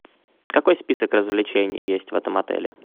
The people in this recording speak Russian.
какой список развлечений есть в этом отеле